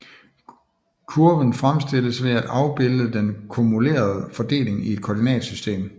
Kurven fremstilles ved at afbilde den kumulerede fordeling i et koordinatsystem